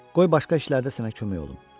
Qoy başqa işlərdə sənə kömək olum.